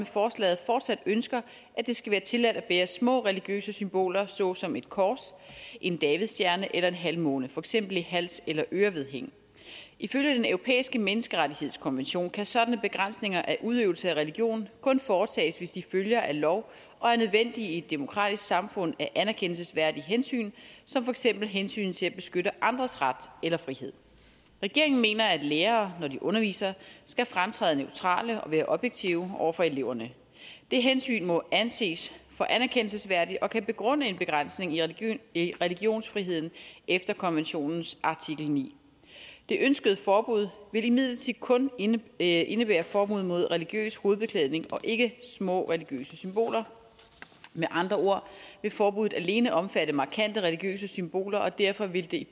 fortsat ønsker at det skal være tilladt at bære små religiøse symboler såsom et kors en davidstjerne eller en halvmåne for eksempel i hals eller ørevedhæng ifølge den europæiske menneskerettighedskonvention kan sådanne begrænsninger af udøvelse af religion kun foretages hvis de følger af lov og er nødvendige i et demokratisk samfund af anerkendelsesværdige hensyn som for eksempel hensynet til at beskytte andres ret eller frihed regeringen mener at lærere når de underviser skal fremtræde neutrale og være objektive over for eleverne det hensyn må anses for anerkendelsesværdigt og kan begrunde en begrænsning i i religionsfriheden efter konventionens artikel niende det ønskede forbud vil imidlertid kun indebære indebære forbud mod religiøs hovedbeklædning og ikke små religiøse symboler med andre ord vil forbuddet alene omfatte markante religiøse symboler og derfor vil det